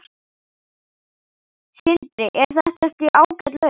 Sindri: Er þetta ekki ágæt lausn?